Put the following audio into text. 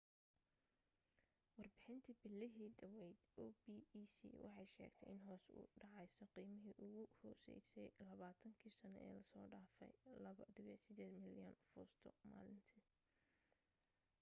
warbixintii bilihii dhaweyd opec waxay sheegtay in hoos u dhaceyso qiimihii ugu hooseeyey labaatan kii sano ee la soo dhaafay 2.8 milyan fuusto maalintii